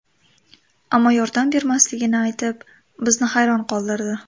Ammo yordam bermasligini aytib, bizni hayron qoldirdi.